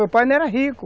Meu pai não era rico.